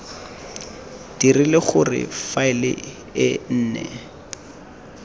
dirile gore faele e nne